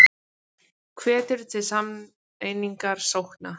Hvetur til sameiningar sókna